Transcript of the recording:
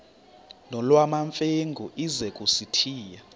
nolwamamfengu ize kusitiya